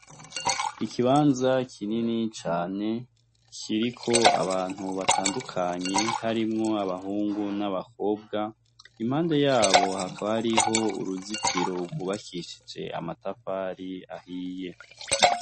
Ikibanza kinini cane kiriko abantu batandukanye harimwo abahungu n'abakobwa impande yaho hakaba hariho uruzitiro rwubakishije amatafari ahiye .